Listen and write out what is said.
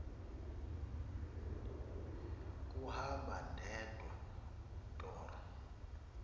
kuhamba ndedwa torho